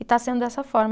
E está sendo dessa forma.